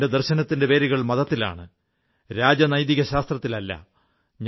എന്റെ ദർശനത്തിന്റെ വേരുകൾ മതത്തിലാണ് രാജനൈതികശാസ്ത്രത്തിലല്ല